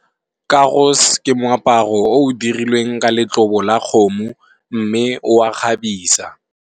Karos ke moaparo o o dirilweng ka letlobo la kgomo, mme o a kgabisa.